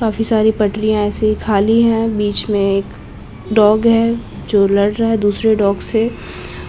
काफी सारी पटरियां ऐसे ही खाली है बीच में एक डॉग है जो लड़ रहा है दुसरे डॉग से